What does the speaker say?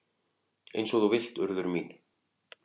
"""Eins og þú vilt, Urður mín."""